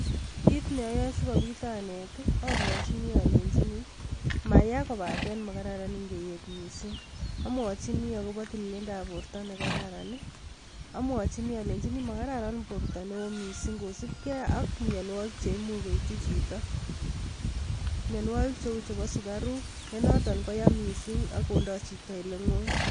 Kit neayae sikobit anet, amwachini alenjini maya, kobata makararan ngeet mising. Amwachini akobo tililindab borta nekararan. Amwachini aleini makararan borta neo mising kosupkei ak miamwagik che imuch koitchi chito. mianwagik cheu chebo sukaruk, ne notok koya mising ak kondoi chito ale ng'oi.